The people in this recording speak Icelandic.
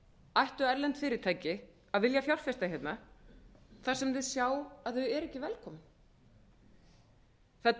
ættu erlend fyrirtæki að vilja fjárfesta hérna þar sem þau sjá að þau eru ekki velkomin það